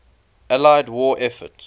allied war effort